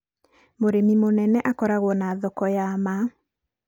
mũrĩmi mũnene akoragwo na thoko ya ma.